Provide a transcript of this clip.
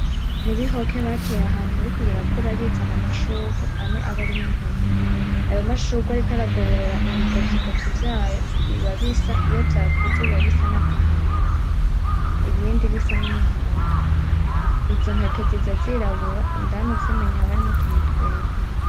Ni ibihoke bateye ahantu biriko birakura bizana amashurwe amwe aba arimwo intete, ayo mashurwe ariko aragoborora ibigovyigovyi vyayo biba bisa, iyo vyakuze biba bisa n'agahama ibindi bisa n'umuhondo, izo ntente ziza zirabura indani uzimenye haba harimwo utuntu twera.